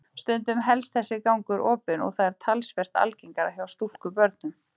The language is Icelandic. Stundum helst þessi gangur opinn og er það talsvert algengara hjá stúlkubörnum.